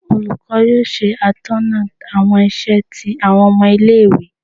olukọ yóò se atóná awọn isè ti awọn omo ile ìwé